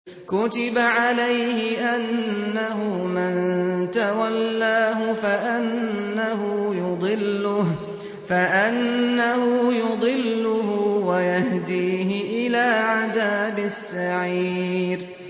كُتِبَ عَلَيْهِ أَنَّهُ مَن تَوَلَّاهُ فَأَنَّهُ يُضِلُّهُ وَيَهْدِيهِ إِلَىٰ عَذَابِ السَّعِيرِ